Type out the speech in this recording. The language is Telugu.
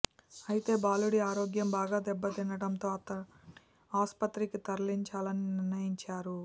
అయితే బాలుడి ఆరోగ్యం బాగా దెబ్బతినడంతో అతడిని ఆసుపత్రికి తరలించాలని నిర్ణయించారు